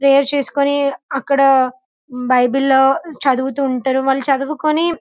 prayer చేసుకొని అక్కడ Bible లో చదువుతూ ఉంటారు వాళ్లు చదుకొని --